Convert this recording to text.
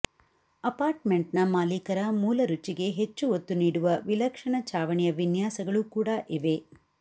ಅಪಾರ್ಟ್ಮೆಂಟ್ನ ಮಾಲೀಕರ ಮೂಲ ರುಚಿಗೆ ಹೆಚ್ಚು ಒತ್ತು ನೀಡುವ ವಿಲಕ್ಷಣ ಚಾವಣಿಯ ವಿನ್ಯಾಸಗಳು ಕೂಡಾ ಇವೆ